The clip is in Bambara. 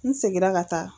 N seginna ka taa